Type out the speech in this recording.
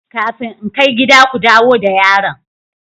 Kafin in kai gida, ku dawo da yaron!